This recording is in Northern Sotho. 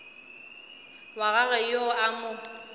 wa gagwe yo a mo